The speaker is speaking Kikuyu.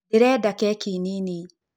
Ndĩreda kekĩ nĩnĩ.